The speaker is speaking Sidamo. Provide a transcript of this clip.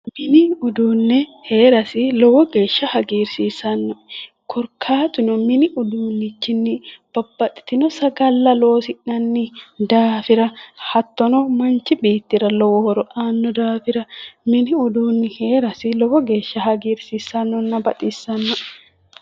Mini uduunni heerasi lowo geeshsha hagiirsiissanno korkaatuno mini uduunnichinni babbaxitinno sagalla loosi'nanni hattono manchi beettira lowo horo aanno daafira mini uduunni heerasi lowo geeshsha hgiirsiissannoenna baxissannoe.